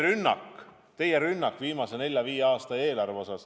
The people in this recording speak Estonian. Nüüd, see teie rünnak viimase nelja kuni viie aasta eelarve pihta.